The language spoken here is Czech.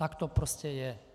Tak to prostě je.